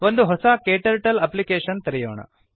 ಒಂದು ಹೊಸ KTurtleನ ಅಪ್ಲಿಕೇಷನ್ ತೆರೆಯೋಣ